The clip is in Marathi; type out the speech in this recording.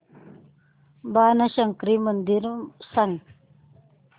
बाणशंकरी मंदिर मला सांग